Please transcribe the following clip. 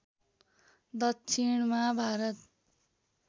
दक्षिणमा भारत